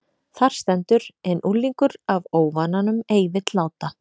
Þar stendur: En unglingur af óvananum ei vill láta